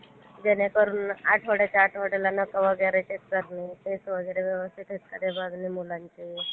जेणेकरून आठवड्याच्या आठवड्याला नखे वगैरे काढणे वगैरे व्यवस्थित बघणे वगैरे मुलांचे.